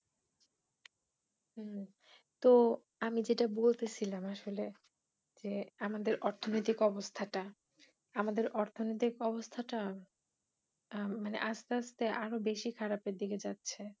হম তো আমি যেটা বলতেছিলাম আসলে যে আমাদের অর্থনৈতিক অবস্থাটা আমাদের অর্থনৈতিক অবস্থাটা আহ মানে আস্তে আস্তে আরো বেশি খারাপ এর দিকে যাচ্ছে।